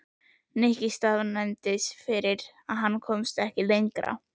Nikki staðnæmdist ekki fyrr en hann komst ekki lengra.